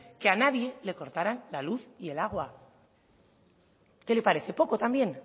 que a nadie le cortarán la luz y el agua qué le parece poco también